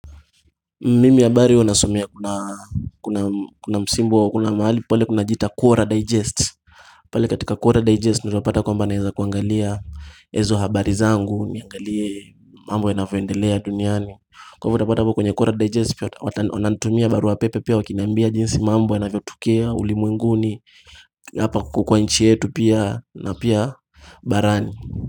Mimi habari huwa nasomea kuna msimbo kuna mahali pale kunajiita Cwora Digest Pali katika Cwora Digest ndio utapata kwamba naeza kuangalia ezo habari zangu niangalie mambo yanavyoendelea duniani Kwa ivo utapata kwenye Cwora Digest pia wananitumia barua pepe pia wakinambia jinsi mambo yanavyotokea ulimwenguni Hapa kuokowa nchi yetu na pia barani.